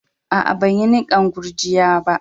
Aa, ban yi nikan gurjiya'n ba.